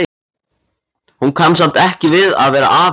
Hún kann samt ekki við að vera afundin.